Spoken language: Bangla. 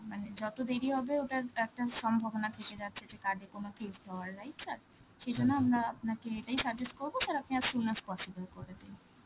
মানে যত দেরি হবে, ওটার একটা সম্ভাবনা থেকে যাচ্ছে যে card এর কোনো case খাওয়ার, right sir? সেই জন্য আমরা আপনাকে এটাই suggest করব, sir আপনি as soon as possible করে দিন.